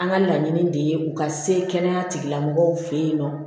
An ka laɲini de ye u ka se kɛnɛya tigilamɔgɔw fɛ yen nɔ